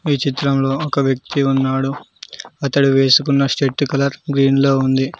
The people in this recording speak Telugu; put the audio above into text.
ఈ చిత్రంలో ఒక వ్యక్తి ఉన్నాడు అతడు వేసుకున్న షర్ట్ కలర్ గ్రీన్ లో ఉంది.